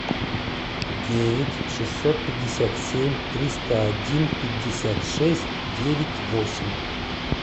девять шестьсот пятьдесят семь триста один пятьдесят шесть девять восемь